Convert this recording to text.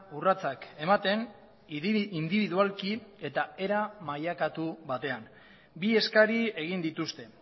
urratsak ematen indibidualki eta era mailakatu batean bi eskari egin dituzte